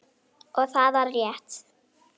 Og það var rétt.